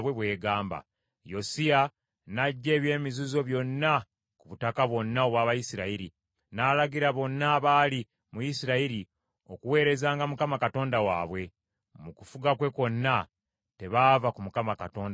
Yosiya n’aggya eby’emizizo byonna ku butaka bwonna obw’Abayisirayiri, n’alagira bonna abaali mu Isirayiri okuweerezanga Mukama Katonda waabwe. Mu kufuga kwe kwonna, tebaava ku Mukama Katonda wa bajjajjaabwe.